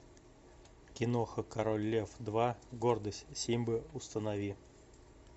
киноха король лев два гордость симбы установи